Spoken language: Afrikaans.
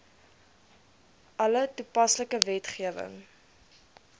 alle toepaslike wetgewing